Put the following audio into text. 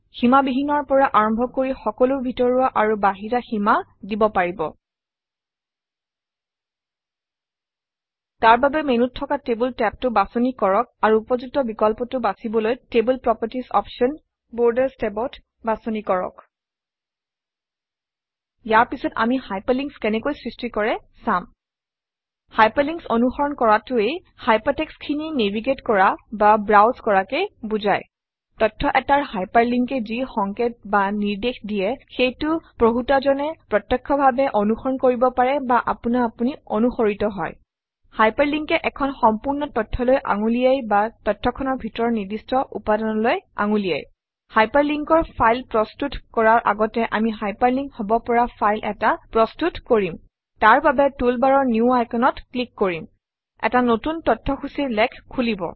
সীমাবিহীনৰ পৰা আৰম্ভ কৰি সকলো ভিতৰুৱা আৰু বাহিৰা সীমা দিব পাৰিব তাৰ বাবে মেনুত থকা টেবল টেবটো বাছনি কৰক আৰু উপযুক্ত বিকল্পটো বাছিবলৈ টেবল প্ৰপাৰ্টিজ অপশ্যন বৰ্ডাৰ্ছ টেবত বাছনি কৰক ইয়াৰ পাছত আমি হাইপাৰলিংকছ কেনেকৈ সৃষ্টি কৰে চাম হাইপাৰলিংকছ অনুসৰণ কৰাটোৱে hypertext খিনি নেভিগেট কৰা বা ব্ৰাউজ কৰাকে বুজায় তথ্য এটাৰ hyperlink এ যি সংকেত বা নিৰ্দেশ দিয়ে সেইটো পঢ়োঁতাজনে প্ৰত্যক্ষভাবে অনুসৰণ কৰিব পাৰে বা আপোনা আপুনি অনুসৰিত হয় Hyperlink এ এখন সম্পূৰ্ণ তথ্যলৈ আঙুলিয়ায় বা তথ্যখনৰ ভিতৰৰ নিৰ্দিষ্ট উপাদানলৈ আঙুলিয়ায় Hyperlink অৰ ফাইল প্ৰস্তুত কৰাৰ আগতে আমি হাইপাৰলিংক হব পৰা ফাইল এটা প্ৰস্তুত কৰিম তাৰবাবে টুলবাৰৰ নিউ Icon অত ক্লিক কৰিম এটা নতুন তথ্যসূচীৰ লেখ খুলিব